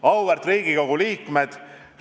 Auväärt Riigikogu liikmed!